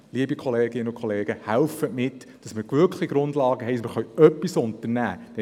Liebe Kolleginnen und Kollegen, helfen Sie mit, damit wir wirklich Grundlagen haben und etwas unternehmen können.